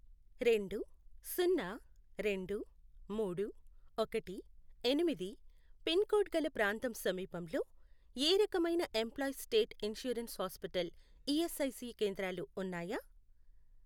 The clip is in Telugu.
రెండు, సున్నా, రెండు, మూడు, ఒకటి, ఎనిమిది, పిన్ కోడ్ గల ప్రాంతం సమీపంలో ఏ రకమైన employees state insurance hospital ESIC కేంద్రాలు ఉన్నాయా?